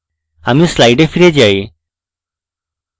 আমি slides ফিরে যাই